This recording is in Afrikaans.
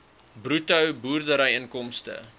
bruto boerdery inkomste